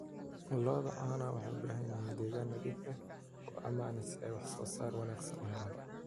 Lo'da caanaha waxay u baahan yihiin deegaan nadiif ah oo ammaan ah si ay wax soo saar wanaagsan u helaan.